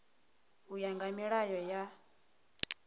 u ya nga milayo na